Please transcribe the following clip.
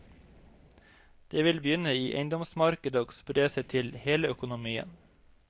Det vil begynne i eiendomsmarkedet og spre seg til hele økonomien.